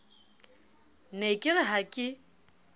ne ke re ha ke